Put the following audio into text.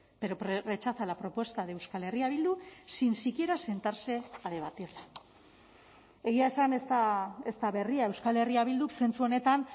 pero rechaza la propuesta de euskal herria bildu sin siquiera sentarse a debatirla egia esan ez da berria euskal herria bilduk zentzu honetan